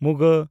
ᱺ